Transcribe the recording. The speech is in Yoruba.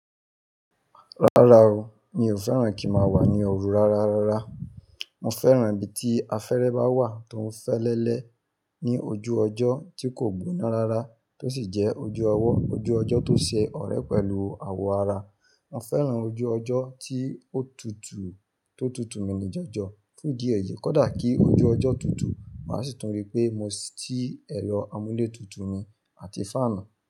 Rárá o, mi ò fẹ́ràn kí ń màá wà ní ọrù rárarára. Mo fẹ́ràn ibi tí afẹ́rẹ́ bá wà tó ń fẹ́lẹ́lẹ́ ní ojú ọjọ́ tí kò gbóná rára tó sì jẹ́ ojú ọwọ, ojú ọjọ́ tó ṣe ọ̀rẹ́ pẹ̀lú awọ ara. Mo fẹ́ràn ojú ọjọ́ tí ó tutù tó tutù mi ni jọjọ. Fún ìdí èyí, kódà kí ojú ọjọ́ tutù, màá sì tún rí pé mo ṣí ẹ̀rọ amúlétutù mi àti fáànù.